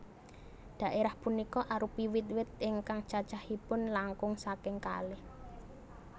Dhaérah punika arupi wit wit ingkang cacahipun langkung saking kalih